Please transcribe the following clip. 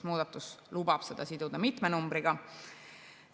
Muudatus lubab seda siduda mitme numbriga.